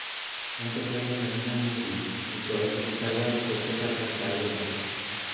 पंतप्रधान नरेंद्र मोदी हे सर्वात स्वच्छ सरकार चालवत आहेत.